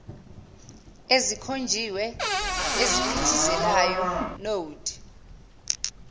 ezikhonjiwe eziphithizelayo node